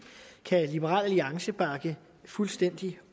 kan liberal alliance bakke fuldstændig